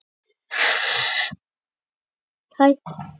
Henni finnst að það eigi að kenna öllum undirstöðu í táknmáli.